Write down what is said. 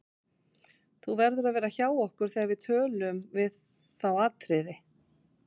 Þú verður að vera hjá okkur þegar við tölun við þá Atriði.